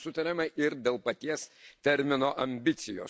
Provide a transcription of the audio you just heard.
Nesutariama ir dėl paties termino ambicijos.